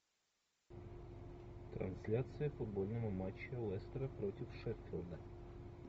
трансляция футбольного матча лестера против шеффилда